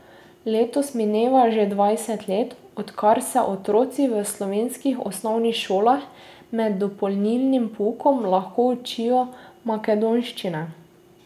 Letos mineva že dvajset let, odkar se otroci v slovenskih osnovnih šolah med dopolnilnim poukom lahko učijo makedonščine.